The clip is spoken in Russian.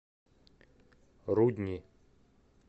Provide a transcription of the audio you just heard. рудни